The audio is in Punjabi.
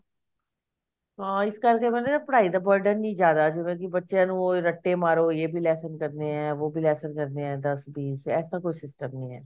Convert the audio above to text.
ਹਾਂ ਇਸ ਕਰਕੇ ਨਾ ਮਤਲਬ ਕੀ ਪੜ੍ਹਾਈ ਦਾ burden ਨੀ ਜਿਆਦਾ ਜਿਵੇਂ ਕੀ ਬੱਚਿਆ ਨੂੰ ਰੱਟੇ ਮਾਰੋ ਯੇ ਵੀ lesson ਕਰਨੇ ਐ ਵੋ ਬੀ lesson ਕਰਨੇ ਐ ਦਸ ਬੀਸ ਐਸਾ ਕੋਈ system ਨੀ ਐ